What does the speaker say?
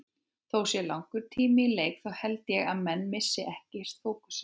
Þó það sé langur tími í leik þá held ég að menn missi ekkert fókusinn.